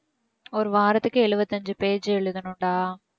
ஒரு வாரத்துக்கு எழுவத்தி ஐந்து page எழுதணும்டா